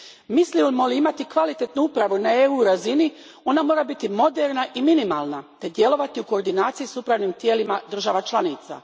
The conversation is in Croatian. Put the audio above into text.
Mislimo li imati kvalitetnu upravu na razini EU a, ona mora biti moderna i minimalna te djelovati u koordinaciji s upravnim tijelima država članica.